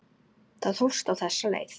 Það hófst á þessa leið.